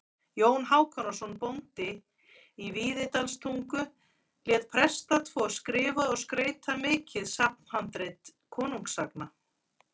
Jón Hákonarson bóndi í Víðidalstungu lét presta tvo skrifa og skreyta mikið safnhandrit konungasagna.